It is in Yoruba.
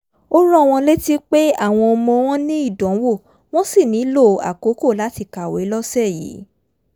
ó rán wọn létí pé àwọn ọmọ wọn ní ìdánwò wọ́n sì nílò àkókò láti kàwé lọ́sẹ̀ yìí